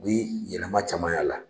U bɛ yɛlɛma camanya la.